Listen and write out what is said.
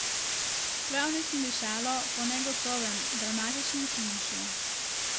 Prav nič ni dišalo po negotovem, dramatičnem finišu.